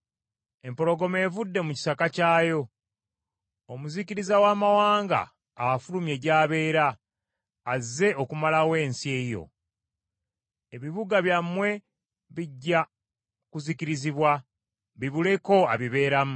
Empologoma evudde mu kisaka kyayo, omuzikiriza w’amawanga afulumye gy’abeera, azze okumalawo ensi yo. Ebibuga byammwe bijja kuzikirizibwa bibuleko abibeeramu.